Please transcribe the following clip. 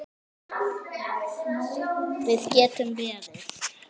Við getum beðið.